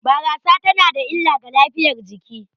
Barasa tana da illa ga lafiyar jiki